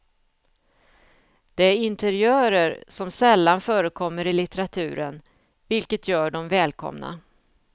Det är interiörer som sällan förekommer i litteraturen, vilket gör dem välkomna.